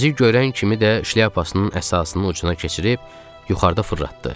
Bizi görən kimi də şlyapasının əsasını ucuna keçirib yuxarıda fırlatdı.